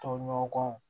Tɔɲɔgɔn kɔ